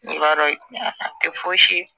I b'a dɔn a tɛ fosi